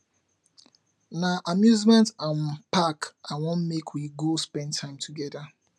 na amusement um park i wan make we go spend time togeda